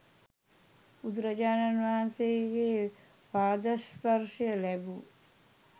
බුදුරජාණන් වහන්සේගේ පාදස්පර්ශය ලැබූ